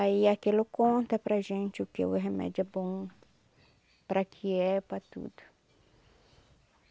Aí aquilo conta para gente o que o remédio é bom, para que é, para tudo.